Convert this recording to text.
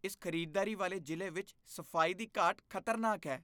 ਇਸ ਖ਼ਰੀਦਦਾਰੀ ਵਾਲੇ ਜ਼ਿਲ੍ਹੇ ਵਿੱਚ ਸਫ਼ਾਈ ਦੀ ਘਾਟ ਖ਼ਤਰਨਾਕ ਹੈ।